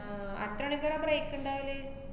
ആഹ് അട്ത്ത അനക്കെപ്പഴാ break ഇണ്ടാവല്?